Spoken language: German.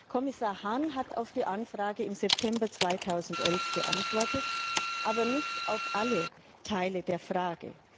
Kommissar Hahn hat auf die Anfrage im September 2011 geantwortet, aber nicht auf alle Teile der Frage.